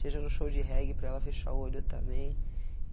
Seja no show de reggae para ela fechar o olho também.